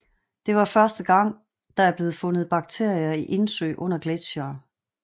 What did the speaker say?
Det var første gang der er blevet fundet bakterier i indsøer under gletsjere